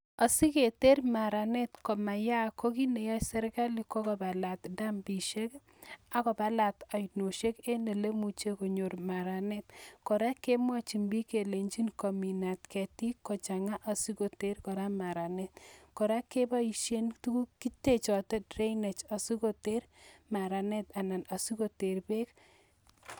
Asi keter maranet komayaak ko kit ne yoe serikali ko: kobalat dambishek ii, ak kobalat oinoshek en ole imuche konyor maranet. Kora kemwochin bik kelenjin kominat ketik ko chang'a asi koter kora maranet. Kora keboishen tuguk - kitechote drainage asi koter maranet ana asi koter beek.